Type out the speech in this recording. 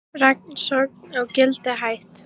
Rannsókn á Gildi hætt